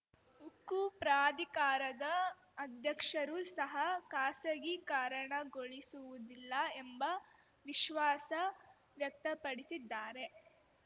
ಉಕ್ಕು ಪ್ರಾಧಿಕಾರದ ಅಧ್ಯಕ್ಷರು ಸಹ ಖಾಸಗಿಕಾರಣಗೊಳಿಸುವುದಿಲ್ಲ ಎಂಬ ವಿಶ್ವಾಸ ವ್ಯಕ್ತಪಡಿಸಿದ್ದಾರೆ